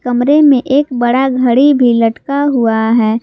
कमरे में एक बड़ा घड़ी भी लटका हुआ है।